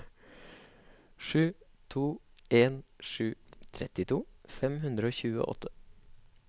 sju to en sju trettito fem hundre og tjueåtte